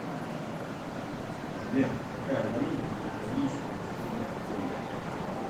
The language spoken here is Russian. сбер какая валюта в демократической республике конго